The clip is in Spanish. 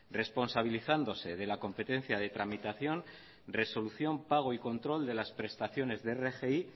responsabilizándose de la competencia de tramitación resolución pago y control de las prestaciones de rgi